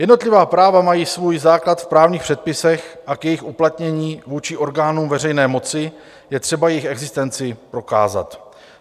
Jednotlivá práva mají svůj základ v právních předpisech a k jejich uplatnění vůči orgánům veřejné moci je třeba jejich existenci prokázat.